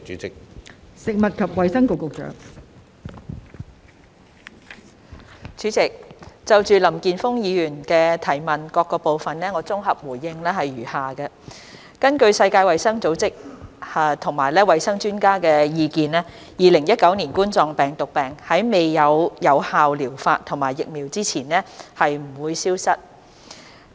代理主席，就林健鋒議員質詢的各部分，我的綜合回應如下：根據世界衞生組織及衞生專家的意見 ，2019 冠狀病毒病在未有有效療法及疫苗前，將不會消失。